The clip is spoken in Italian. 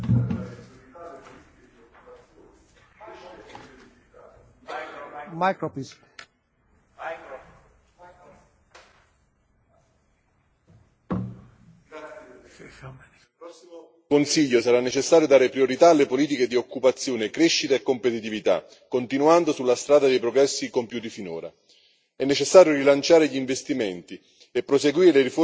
Signor Presidente, onorevoli colleghi, al prossimo Consiglio sarà necessario dare priorità alle politiche di occupazione, crescita e competitività, continuando sulla strada dei progressi compiuti finora. È necessario rilanciare gli investimenti e proseguire le riforme strutturali per modernizzare le nostre economie.